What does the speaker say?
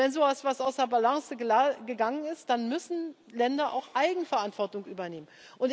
Wenn so etwas aus der Balance geraten ist, dann müssen Länder auch Eigenverantwortung übernehmen.